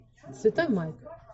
святой майк